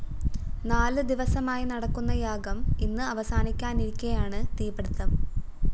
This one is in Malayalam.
നാല് ദിവസമായി നടക്കുന്ന യാഗം ഇന്ന് അവസാനിക്കാനിരിക്കെയാണ് തീ പിടിത്തം